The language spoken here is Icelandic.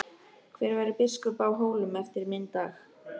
Hver verður biskup á Hólum eftir minn dag?